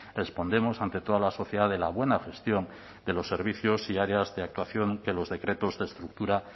respondemos ante toda la sociedad de la buena gestión de los servicios y áreas de actuación que los decretos de estructura